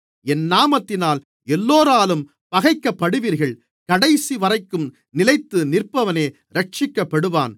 என் நாமத்தினால் எல்லோராலும் பகைக்கப்படுவீர்கள் கடைசிவரைக்கும் நிலைத்து நிற்பவனே இரட்சிக்கப்படுவான்